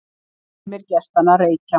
Sumir gestanna reykja.